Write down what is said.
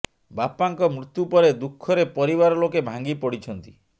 ବାପାଙ୍କ ମୃତ୍ୟୁ ପରେ ଦୁଃଖରେ ପରିବାର ଲୋକେ ଭାଙ୍ଗି ପଡିଛନ୍ତି